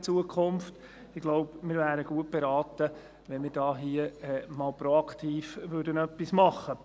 Ich denke, wir wären gut beraten, wenn wir hier einmal proaktiv etwas tun würden.